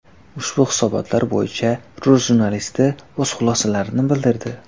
Ushbu hisobotlar bo‘yicha rus jurnalisti o‘z xulosalarini bildirdi.